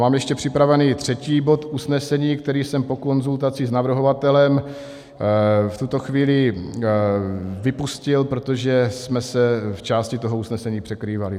Mám ještě připravený třetí bod usnesení, který jsem po konzultaci s navrhovatelem v tuto chvíli vypustil, protože jsme se v části toho usnesení překrývali.